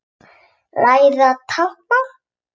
Læra táknmál